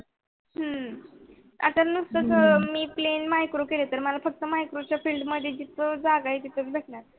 हम्म आता नुसत मी plain micro केल फक्त micro field मध्ये जागा निघल्या तर